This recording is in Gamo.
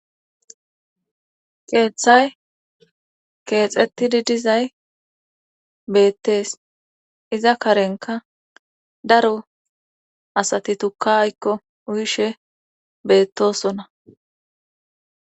Keeththay keexettidi dizay beettees iza karenka daro asati tukka aykko uyishe beettosona